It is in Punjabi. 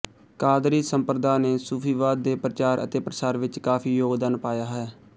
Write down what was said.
ਕਾਦਰੀ ਸੰਪ੍ਰਦਾ ਨੇ ਸੂਫ਼ੀਵਾਦ ਦੇ ਪ੍ਰਚਾਰ ਅਤੇ ਪ੍ਰਸਾਰ ਵਿੱਚ ਕਾਫ਼ੀ ਯੋਗਦਾਨ ਪਾਇਆ ਹੈ